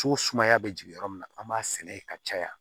So sumaya bɛ jigin yɔrɔ min na an b'a sɛnɛ yen ka caya